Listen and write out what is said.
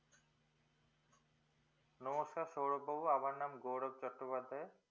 নমস্কার সৌরভ বাবু আমার নাম গৌরব চট্টোপাধ্যায়